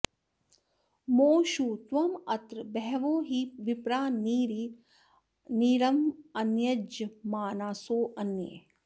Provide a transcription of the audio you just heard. मो षु त्वामत्र॑ ब॒हवो॒ हि विप्रा॒ नि री॑रम॒न्यज॑मानासो अ॒न्ये